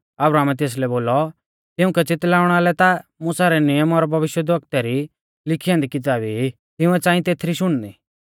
अब्राहमै तेसलै बोलौ तिउंकै च़ितलाउणा लै ता मुसा रै नियम और भविष्यवक्तु री लिखी ऐन्दी किताबै ई तिंउऐ च़ांई तेथरी शुणनी